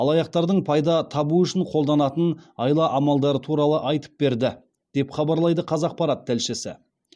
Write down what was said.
алаяқтардың пайда табу үшін қолданатын айла амалдары туралы айтып берді деп хабарлайды қазақпарат тілшісі